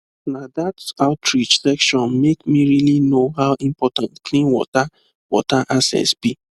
na that outreach session make me really know how important clean water water access be